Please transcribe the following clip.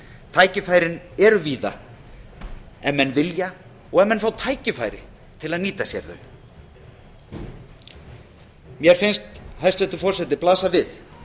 tækifærin eru víða ef menn vilja og ef menn fái tækifæri til að nýta sér þau mér finnst hæstvirtur forseti blasa við